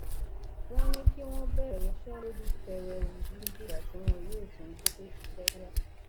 wọn ní kí wọn bẹrẹ ìyanṣẹlódì pẹrẹwu títí dìgbà tí wọn yóò tún gbọ pé iṣẹ tún yá